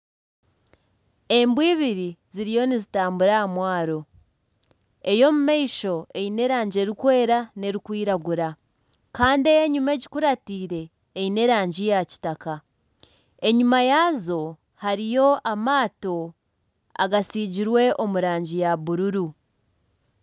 Embwa ibiri ziriyo nizitambura aha mwaro. Ey'omu maisho eine erangi erikwera n'erikwiragura. Kandi ey'enyima egikuratiire eine erangi ya kitaka. Enyima yaazo hariyo amaato agatsigirwe omu rangi ya bururu.